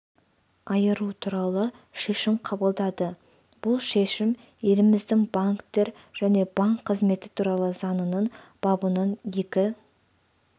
айыру туралы шешім қабылдады бұл шешім еліміздің банктер және банк қызметі туралы заңының бабының екі